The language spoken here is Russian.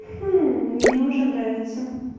хм мне уже нравится